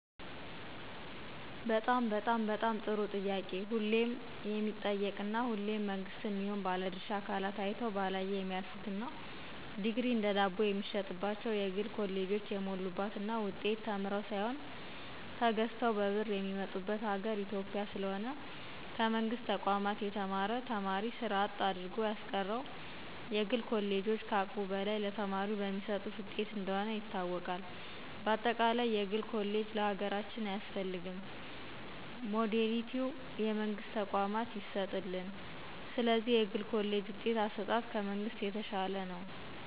በጣም በጣም በጣም ጥሩ ጥያቄ ሁሌም የሚጠየቅ እና ሁሌም መንግስትም ይሁን ባለድርሻ አካላት አይተው ባላየ የሚያልፍት እና ዲግሪ እንደ ዳቦየሚሸጥባቸው የግል ኮሌጆች የሞሉባት እና ውጤት ተምረው ሳይሆን ተገዝተው በብር የሚመጡበት ሀገር ኢትዮጵያ። ስለሆነም ከመንግስት ተቋም የተማረ ተማሪ ስራ አጥ አድርጎያስቀረው የግል ኮሌጆች ከአቅሙ በላይ ለተማሪው በሚሰጡት ውጤት እንደሆነ ይታወቅ። በአጠቃለይ የግል ኮሌጅ ለሀገራችን አያስፈልግም ሞዳሊቲው ለመንግስት ተቋማት ይሰጥልን። ስለዚህ የግል ኮሌጅ ውጤት አሰጣጥ ከመንግሥት የተሻለ ነው።